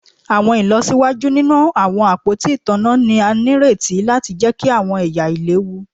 Awọn ilọsiwaju ninu awọn apoti itanna ni a nireti lati jẹki awọn ẹya ailewu